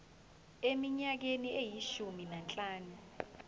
eminyakeni eyishumi nanhlanu